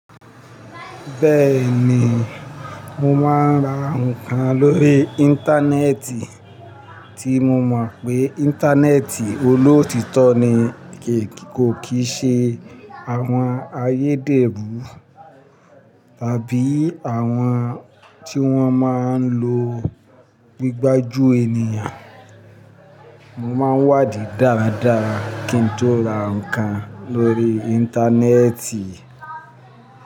Bẹ́ẹ̀ ni, mo máa ń ra ǹkan lórí Íńtánẹ́ẹ̀tì tí mo mọ̀ pé Íńtánẹ́ẹ̀tì olóòtítọ́ ni, kò kí ṣe àwọn ayédèrú tàbí àwọn tí wọ́n máa ń lo igbájú ènìyàn. Mo máa ń wádìí dáradára kí n tó ra ǹkan lórí Íńtánẹ́ẹ̀tì.